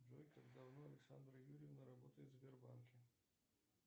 джой как давно александра юрьевна работает в сбербанке